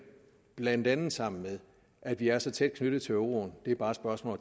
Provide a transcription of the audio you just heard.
blandt andet sammen med at vi er så tæt knyttet til euroen det er bare et spørgsmål